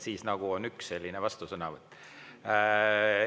Siis on üks vastusõnavõtt.